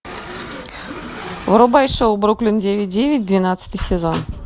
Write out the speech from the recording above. врубай шоу бруклин девять девять двенадцатый сезон